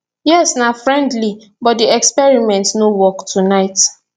yes na friendly but di experiment no work tonight